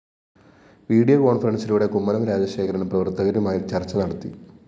video കോണ്‍ഫറന്‍സിലൂടെ കുമ്മനം രാജശേഖരന്‍ പ്രവര്‍ത്തകരുമായി ചര്‍ച്ച നടത്തി